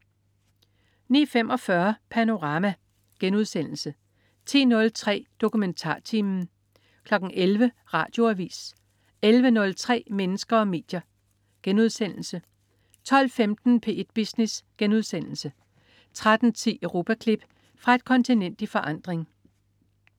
09.45 Panorama* 10.03 DokumentarTimen* 11.00 Radioavis 11.03 Mennesker og medier* 12.15 P1 Business* 13.10 Europaklip. Fra et kontinent i forandring